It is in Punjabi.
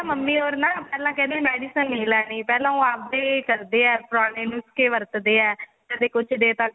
mummy or ਨਾ ਪਹਿਲਾਂ ਕਹਿੰਦੇ medicine ਲੈਲਾ ਪਹਿਲਾਂ ਉਹ ਆਪਦੇ ਕਰਦੇ ਆ ਪੁਰਾਣੇ ਨੁਸਖੇ ਵਰਤਦੇ ਆ ਕਦੇ ਕੁੱਝ ਦੇਤਾ ਕਦੇ ਕੁੱਝ ਦੇਤਾ